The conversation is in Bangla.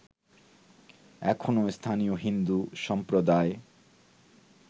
এখনো স্থানীয় হিন্দু সম্প্রদায়